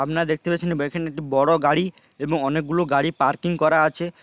আপনারা দেখতে পাচ্ছেন | বেইখানে একটি বড়ো গাড়ি এবং অনেকগুলো গাড়ি পার্কিং করা আছে ।